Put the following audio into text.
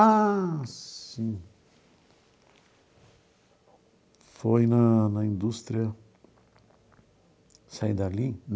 Ah, sim... Foi na na indústria... Saí dali?